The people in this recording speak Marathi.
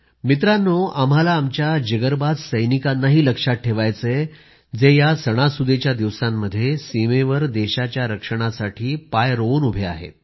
मित्रांनो आम्हाला आमच्या जिगरबाज सैनिकांनाही लक्षात ठेवायचं आहे जे या सणासुदीच्या दिवसांमध्ये सीमेवर देशाच्या रक्षणासाठी पाय रोवून उभे आहेत